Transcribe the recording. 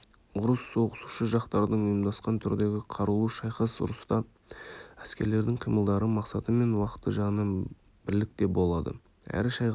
ұрыс соғысушы жақтардың ұйымдасқан түрдегі қарулы шайқасы ұрыста әскерлердің қимылдары мақсаты мен уақыты жағынан бірлікте болады әрі шайқас